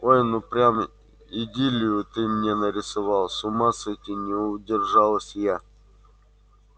ой ну прям идиллию ты мне нарисовал с ума сойти не удержалась я